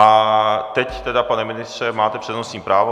A teď tedy, pane ministře, máte přednostní právo.